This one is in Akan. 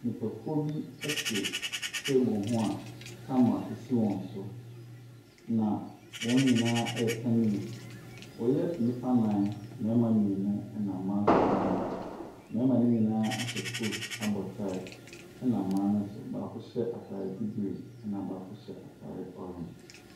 Nnipakuo bi te table ho a camera si wɔn so, na wɔn nyinaa reka news. Wɔyɛ nnipa nnan. Mmarima mmienu, ɛna mma nso mmienu. Mmarima no nyinaa ahyɛ coat abɔ tie. Ɛna mmaa no nso, baako hyɛ atadeɛ bibire, ɛna baako hyɛ atadeɛ orange.